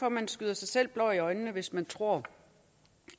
at man stikker sig selv blår i øjnene hvis man tror